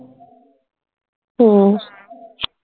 हम्म